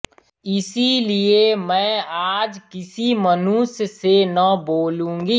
इसलिए मैं आज किसी मनुष्य से न बोलूँगी